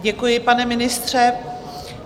Děkuji, pane ministře.